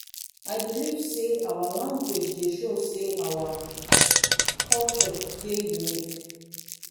i believe sey our language dey show sey our culture dey unique.